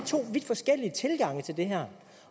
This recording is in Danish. to vidt forskellige tilgange til det her